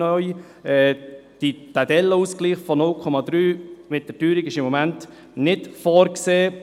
Der Dellenausgleich von 0,3 mit der Teuerung ist im Moment nicht vorgesehen.